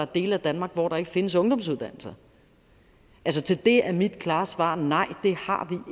dele af danmark hvor der ikke findes ungdomsuddannelser altså til det er mit klare svar nej det har